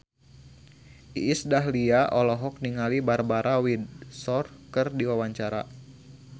Iis Dahlia olohok ningali Barbara Windsor keur diwawancara